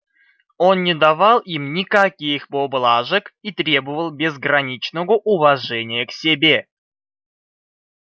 он не давал им никаких поблажек и требовал безграничного уважения к себе